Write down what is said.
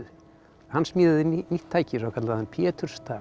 hann smíðaði nýtt tæki svokallaðan